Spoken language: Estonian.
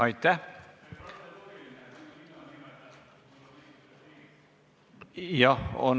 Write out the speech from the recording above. Aitäh!